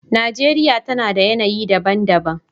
Najeriya tana da yanayi daban-daban.